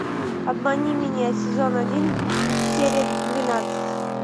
обмани меня сезон один серия двенадцать